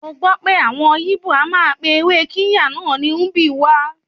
Mọ gbọ́ pé àwọn yíbò a máa pe ewé Kirya náà ní Ubwa.